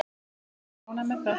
Við erum ánægð með það.